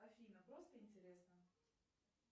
афина просто интересно